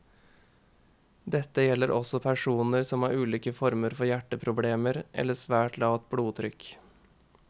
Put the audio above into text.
Dette gjelder også personer som har ulike former for hjerteproblemer eller svært lavt blodtrykk.